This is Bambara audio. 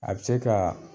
A bɛ se ka